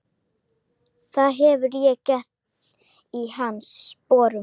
Það hefði ég gert í hans sporum.